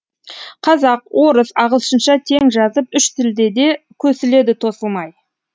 қазақ орыс ағылшынша тең жазып үш тілде де көсіледі тосылмай